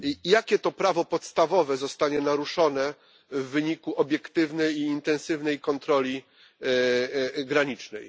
Jakie to prawo podstawowe zostanie naruszone w wyniku obiektywnej i intensywnej kontroli granicznej?